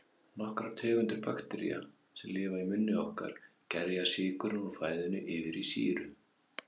Nokkrar tegundir baktería, sem lifa í munni okkar, gerja sykurinn úr fæðunni yfir í sýru.